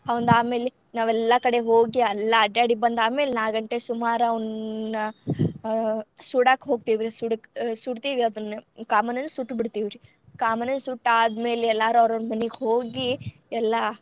ಆವಂದ್ ಆಮೇಲೆ ನಾವೆಲ್ಲಾ ಕಡೆ ಹೋಗಿ ಎಲ್ಲಾ ಅಡ್ಡಾಡಿ ಬಂದ್ ಆದ್ಮೇಲೆ ನಾಕ್ ಗಂಟೆ ಸುಮಾರ್ ಅವ್ನ್ ಆ ಸುಡಾಕ್ ಹೋಗ್ತೇವ್ರಿ ಸು~ ಸುಡ್ತಿವಿ ಅದನ್ನ ಕಾಮಣ್ಣನ್ ಸುಟ್ಟ ಬಿಡ್ತಿವ್ ರೀ. ಕಾಮಣ್ಣ ಸುಟ್ಟ್ ಆದ್ಮೇಲೆ ಎಲ್ಲರು ಅವರೌರ್ ಮನಿಗೆ ಹೋಗಿ ಎಲ್ಲಾ.